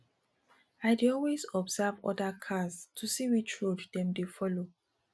i dey always observe other cars to see which road dem dey dey folo